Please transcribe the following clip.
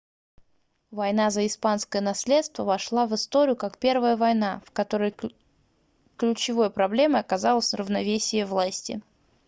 война за испанское наследство вошла в историю как первая война в которой ключевой проблемой оказалось равновесие власти